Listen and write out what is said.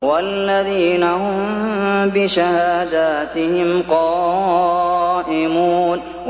وَالَّذِينَ هُم بِشَهَادَاتِهِمْ قَائِمُونَ